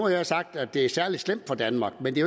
jeg sagt at det er særlig slemt for danmark men det